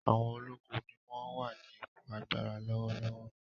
Àwọn ológun ni wọ́n wà ní ipò agbára lọ́wọ́lọ́wọ́.